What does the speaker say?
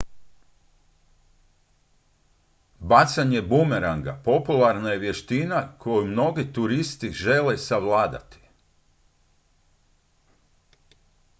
bacanje bumeranga popularna je vještina koju mnogi turisti žele savladati